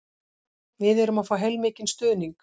Við erum að fá heilmikinn stuðning